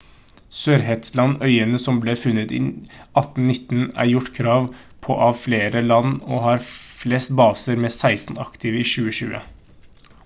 sørshetland-øyene som ble funnet i 1819 er gjort krav på av flere land og har flest baser med 16 aktive i 2020